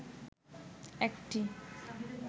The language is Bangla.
একটি